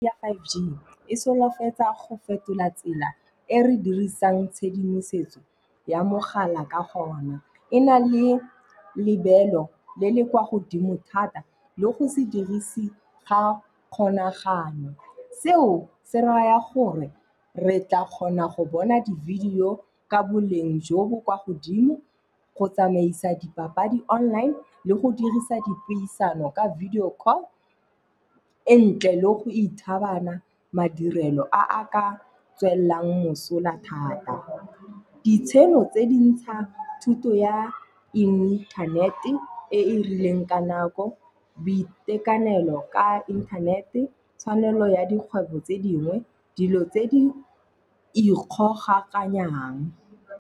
Five G, e solofetsa go fetola tsela e re dirisang tshedimosetso ya mogala ka gona. E na le lebelo le le kwa godimo thata le go se dirise ga kgolagano. Seo se raya gore re tla kgona go bona di video ka boleng jo bo kwa godimo go tsamaisa dipapadi online, le go dirisa dipuisano ka video call e ntle, le go ithabana madirelo a a ka tswelelang mosola thata. Ditsheno tse di ntsha thuto ya inthanete e e rileng ka nako, boitekanelo ka inthanete, tshwanelo ya dikgwebo tse dingwe, dilo tse di ikgogakanyang.